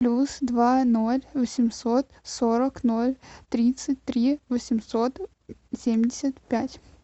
плюс два ноль восемьсот сорок ноль тридцать три восемьсот семьдесят пять